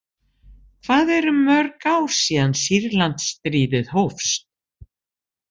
Hvað eru mörg ár síðan Sýrlandsstríðið hófst?